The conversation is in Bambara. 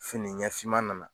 Fini ɲɛ fiman nana